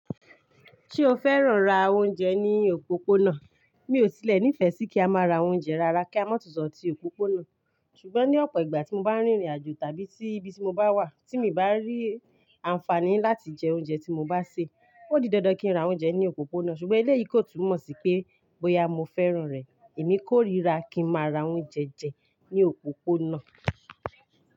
Ṣé o fẹ́ràn ra oúnjẹ ní òpópónà? Mi ò tílẹ̀ nífẹ̀ẹ́ sí kí a máa ra oúnjẹ rara kí a má tún sọ̀ tí òpópónà. Ṣùgbọ́n ní ọ̀pọ̀ ìgbà tí mo bá rìnrìn àjò tàbí tí ibi tí mo bá wà tí mi bá rí àǹfààní láti jẹ oúnjẹ tí mo bá sè, ó di dandan kí n ra oúnjẹ ní òpópónà. Ṣùgbọ́n iléyì kò tún mọ̀ sí pé bóyá mo fẹ́ràn rẹ. Èmi kórìíra kí n má ra oúnjẹ jẹ ní òpópónà.